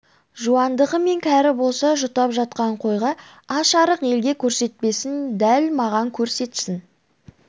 жуандығы мен кәрі болса жұтап жатқан қойға аш-арық елге көрсетпесін дәл маған көрсетсін